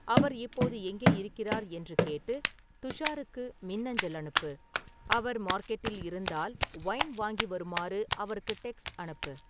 அவர் இப்போது எங்கே இருக்கிறார் என்று கேட்டு துஷாருக்கு மின்னஞ்சல் அனுப்பு அவர் மார்க்கெட்டில் இருந்தால், வைன் வாங்கி வருமாறு அவருக்கு டெக்ஸ்ட் அனுப்பு